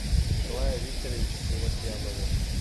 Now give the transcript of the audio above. николаю викторовичу севостьянову